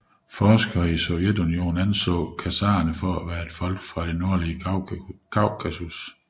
Forskere i Sovjetunionen anså khazarerne for at være et folk fra det nordlige Kaukasus